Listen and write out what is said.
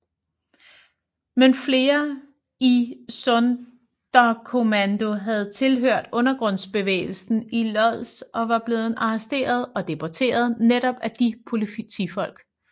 Men flere i Sonderkommando havde tilhørt undergrundsbevægelsen i Łódź og var blevet arresteret og deporteret netop af de politifolk